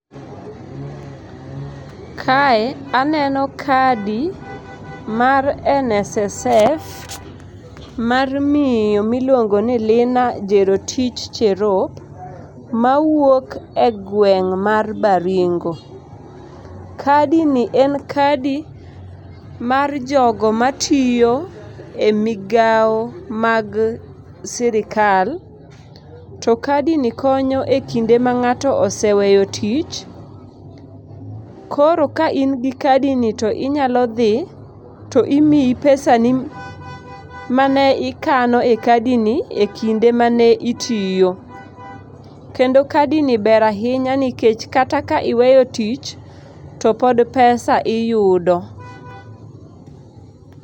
Kae aneno kadi mar NSSF mar miyo miluongoni Lina Jerotich Cherop ,mawuok egweng' mar Baringo. Kadini en kadi mar jogo matiyo emigao mag sirikal, tokadini konyo ekinde mang'ato oseweyo tich. koro kain gi kadini to inyalo dhii, to imiyi pesani mane ikano ekadini ekinde mane itiyo kendo kadini ber ahiya nikech kata ka iweyo tich topod pesa iyudo.